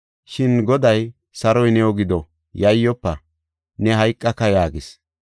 Shin Goday, “Saroy new gido; Yayyofa! Ne hayqaka” yaagis.